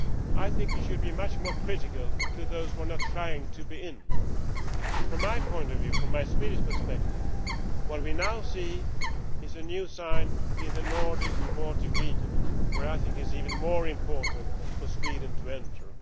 I think you should be much more critical of those which are not trying to be in. From my point of view, from my Swedish perspective, what we now see is a new sign in the Nordic and Baltic region where I think it is even more important for Sweden to enter.